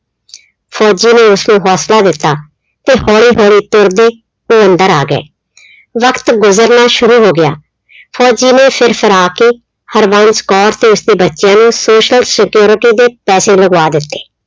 ਫੌਜੀ ਨੇ ਉਸਨੂੰ ਹੌਂਸਲਾ ਦਿੱਤਾ ਤੇ ਹੌਲੀ-ਹੌਲੀ ਤੁਰਦੇ ਉਹ ਅੰਦਰ ਆ ਗਏ। ਵਕਤ ਗੁਜ਼ਰਨਾ ਸ਼ੁਰੂ ਹੋ ਗਿਆ। ਫੌਜੀ ਨੇ ਫਿਰ ਫਰਾ ਕੇ ਹਰਬੰਸ ਕੌਰ ਤੇ ਉਸਦੇ ਬੱਚਿਆਂ ਨੂੰ social security ਦੇ ਪੈਸੇ ਲਗਵਾ ਦਿੱਤੇ।